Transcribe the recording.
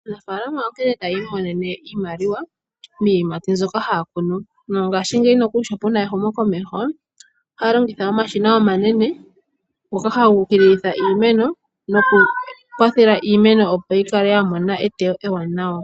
Aanafaalama onkene hayi imonene iimaliwa miiyimati mbyoka haya kunu, mongashingeyi nokuli sho puna ehumo komeho ohaya longitha omashina omanene ngoka haga ukililitha iimeno nokukwathela iimeno opo yikale yamona eteyo ewanawa.